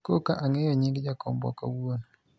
koka ang'eyo nying jakombwa kawuono